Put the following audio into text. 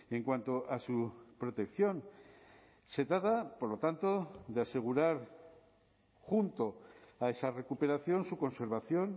en cuanto a su protección se trata por lo tanto de asegurar junto a esa recuperación su conservación